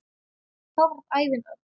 Þá varð ævin öll.